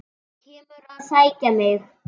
Þú kemur að sækja mig.